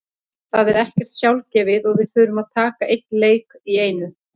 Það er ekkert sjálfgefið og við þurfum að taka einn leik í einu.